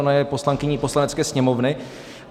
Ona je poslankyní Poslanecké sněmovny.